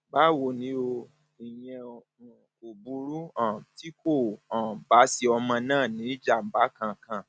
báwo ni o o ìyẹn um kò burú um tí kò um bá ṣe ọmọ náà ní ìjàmbá kankan